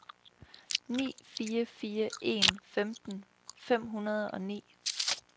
ni fire fire en femten fem hundrede og ni